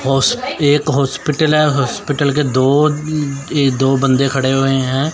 होस एक हॉस्पिटल है हॉस्पिटल के दो दो बंदे खड़े हुए हैं।